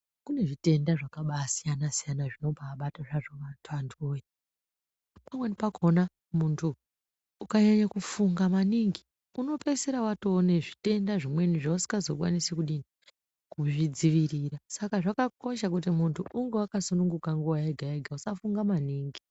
Kune zvitenda zvakasiyana siyana zvonombabata hazvo antuwoye pamweni pakhona muntu ukanyanya kufunga maningi unopeisira watove nezvitenda zvimweni zvausingazokwanise kudini kuzvidzivirira saka zvakakosha kuti muntu unge wakasununguka nguwa yega yega usafunga maningi .